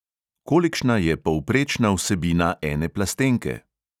Kolikšna je povprečna vsebina ene plastenke?